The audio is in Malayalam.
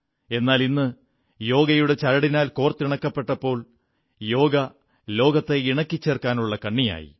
എന്നാലിന്ന് യോഗയുടെ ചരടിനാൽ കോർത്തിണക്കപ്പെട്ടപ്പോൾ യോഗ ലോകത്തെ ഇണക്കിച്ചേർക്കാനുള്ള കണ്ണിയായി